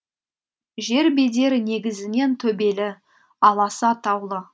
жер бедері негізінен төбелі аласа таулы